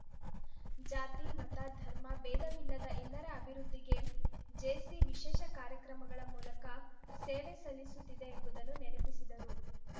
ಜಾತಿಮತ ಧರ್ಮ ಭೇಧವಿಲ್ಲದ ಎಲ್ಲರ ಅಭಿವೃದ್ಧಿಗೆ ಜೆಸಿ ವಿಶೇಷ ಕಾರ್ಯಕ್ರಮಗಳ ಮೂಲಕ ಸೇವೆ ಸಲ್ಲಿಸುತ್ತಿದೆ ಎಂಬುದನ್ನು ನೆನಪಿಸಿದರು